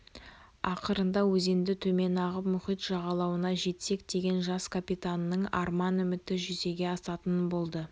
ақырында өзенді төмен ағып мұхит жағалауына жетсек деген жас капитанның арман үміті жүзеге асатын болды